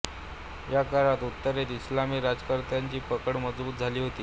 या काळात उत्तरेत इस्लामी राज्यकर्त्यांची पकड मजबूत झाली होती